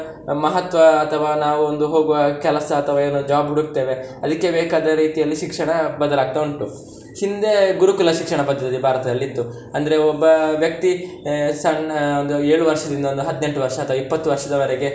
ಮಹತ್ವ ಅಥವಾ ನಾವು ಒಂದು ಹೋಗುವ ಕೆಲಸ ಅಥವಾ ಏನೋ job ಹುಡುಕ್ತೇವೆ, ಅದಿಕ್ಕೆ ಬೇಕಾದ ರೀತಿಯಲ್ಲಿ ಶಿಕ್ಷಣ ಬದಲಾಗ್ತಾ ಉಂಟು. ಹಿಂದೆ ಗುರುಕುಲ ಶಿಕ್ಷಣ ಪದ್ಧತಿ ಭಾರತದಲ್ಲಿ ಇತ್ತು, ಅಂದ್ರೆ ಒಬ್ಬ ವ್ಯಕ್ತಿ ಸಣ್ಣ ಒಂದು ಏಳು ವರ್ಷದಿಂದ ಒಂದು ಹದ್ನೆಂಟು ವರ್ಷ ಅಥವಾ ಇಪ್ಪತ್ತು ವರ್ಷದವರೆಗೆ.